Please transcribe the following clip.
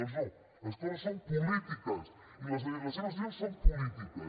doncs no les coses són polítiques i les seves decisions són polítiques